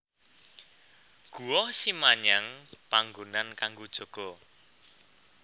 Guwa Simanyang panggonan kanggo jaga